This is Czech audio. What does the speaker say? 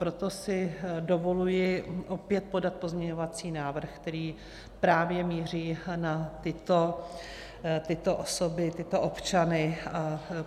Proto si dovoluji opět podat pozměňovací návrh, který právě míří na tyto osoby, tyto občany.